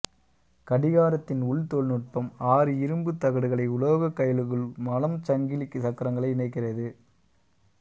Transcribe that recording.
கடிகாரத்தின் உள் தொழில் நுட்பம் ஆறு இரும்புத் தகடுகளை உலோகக் கயிலுகள் மலம் சங்கிலிச் சக்கரங்களை இணைக்கிறது